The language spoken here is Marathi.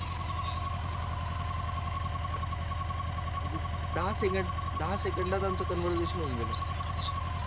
दहा सेकंद दहा सेकंदात आमचं conversation होऊन गेलं